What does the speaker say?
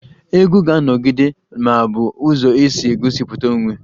Egwú ga-anọgide na-abụ ụzọ isi gosipụta onwe